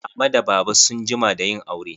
Mama da baba sun jima da yin aure.